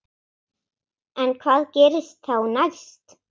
En hvað gerist þá næst?